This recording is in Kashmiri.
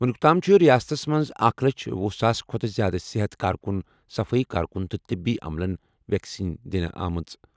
وُنیُک تام چھِ ریاستَس منٛز اکھ لچھ وہُ ساسہِ کھۄتہٕ زِیٛادٕ صحت کارکُن، صفائی کارکُن، تہٕ طبی عملَن ویکسیٖن دِنہٕ آمٕژ۔